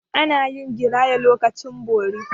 Ana yin giraya a lokacin bori.